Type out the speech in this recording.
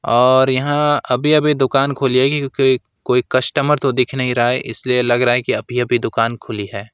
और यहां अभी अभी दुकान खोली गई है क्योंकि कोई कस्टमर तो दिख नहीं रहा है इसलिए लग रहा है कि अभी अभी दुकान खुली है।